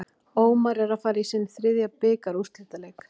Ómar er að fara í sinn þriðja bikarúrslitaleik.